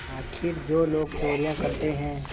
आखिर जो लोग चोरियॉँ करते हैं